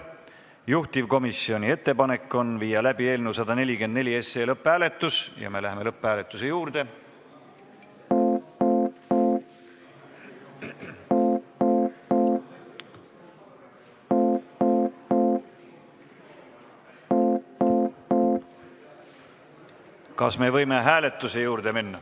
Juhtivkomisjoni ettepanek on viia läbi eelnõu 144 lõpphääletus ja me läheme lõpphääletuse juurde.